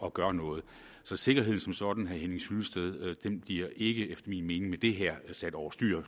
at gøre noget så sikkerheden som sådan hyllested bliver ikke efter min mening med det her sat over styr